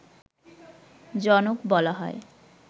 জনক বলা হয়